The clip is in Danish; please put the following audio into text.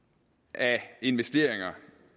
af investeringer